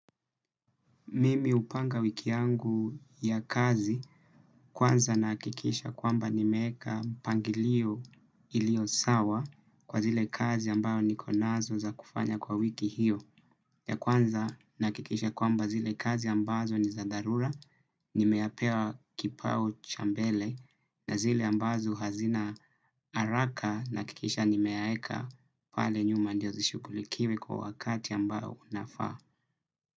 Mimi hupanga wiki yangu ya kazi kwanza nahakikisha kwamba nimeweka mpangilio ilio sawa kwa zile kazi ambayo niko nazo za kufanya kwa wiki hiyo. Ya kwanza nahakikisha kwamba zile kazi ambazo ni za dharura, nimeapewa kipao chambele na zile ambazo hazina haraka nahakikisha nimeaeka pale nyuma ndio zishughulikiwe kwa wakati ambayo unafaa.